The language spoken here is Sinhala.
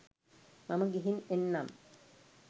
මම ගිහින් එන්නම්